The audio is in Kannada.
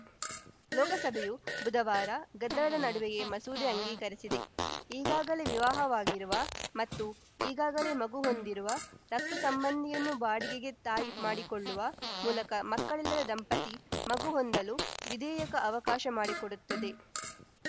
ಲೋಕಸಭೆಯು ಬುಧವಾರ ಗದ್ದಲದ ನಡುವೆಯೇ ಮಸೂದೆ ಅಂಗೀಕರಿಸಿದೆ ಈಗಾಗಲೇ ವಿವಾಹವಾಗಿರುವ ಮತ್ತು ಈಗಾಗಲೇ ಮಗು ಹೊಂದಿರುವ ರಕ್ತ ಸಂಬಂಧಿಯನ್ನು ಬಾಡಿಗೆಗೆ ತಾಯಿ ಮಾಡಿಕೊಳ್ಳುವ ಮೂಲಕ ಮಕ್ಕಳಿಲ್ಲದ ದಂಪತಿ ಮಗು ಹೊಂದಲು ವಿಧೇಯಕ ಅವಕಾಶ ಮಾಡಿಕೊಡುತ್ತದೆ